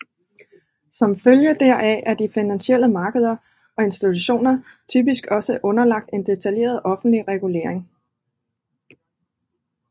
Som følge heraf er de finansielle markeder og institutioner typisk også underlagt en detaljeret offentlig regulering